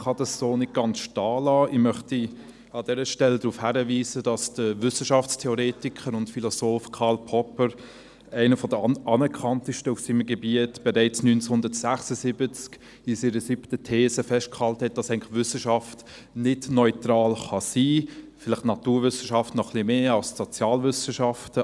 Ich kann das so nicht ganz stehen lassen und möchte an dieser Stelle darauf hinweisen, dass der Wissenschaftstheoretiker und Philosoph Karl Popper, einer der anerkanntesten auf seinem Gebiet, bereits 1976 in seiner siebten These festgehalten hat, dass Wissenschaft eigentlich nicht neutral sein kann – vielleicht die Naturwissenschaft noch etwas mehr als die Sozialwissenschaften.